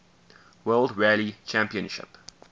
world rally championship